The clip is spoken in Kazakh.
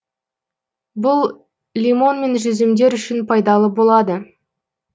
бұл лимон мен жүзімдер үшін пайдалы болады